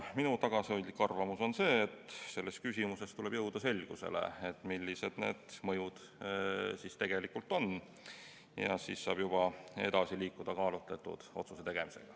Minu tagasihoidlik arvamus on see, et tuleb jõuda selgusele, millised need mõjud siis tegelikult on, ja siis saab juba edasi liikuda kaalutletud otsuse tegemisel.